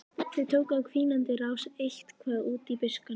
Þau tóku á hvínandi rás eitt- hvað út í buskann.